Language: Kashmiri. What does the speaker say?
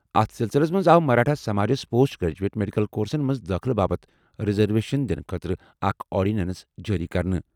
اتھ سلسلس منٛز آو مراٹھا سماجس پوسٹ گریجویٹ میڈیکل کورسَن منٛز دٲخلہٕ باپتھ ریزرویشن دِنہٕ خٲطرٕ اکھ آرڈیننس جٲری کرنہٕ۔